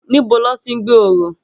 Nibó lòti n gbé óró?